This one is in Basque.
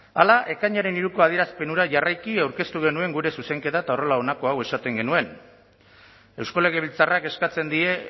hala ekainaren hiruko adierazpen hura jarraiki aurkeztu genuen gure zuzenketa eta horrela honako hau esaten genuen eusko legebiltzarrak eskatzen die